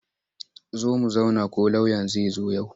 Zo mu zauna ko lauyan zai zo yau.